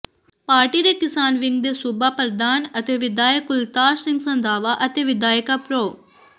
party ਦੇ ਕਿਸਾਨ wing ਦੇ ਸੂਬਾ ਪ੍ਰਧਾਨ ਅਤੇ ਵਿਧਾਇਕ ਕੁਲਤਾਰ ਸਿੰਘ ਸੰਧਵਾਂ ਅਤੇ ਵਿਧਾਇਕਾ ਪ੍ਰੋ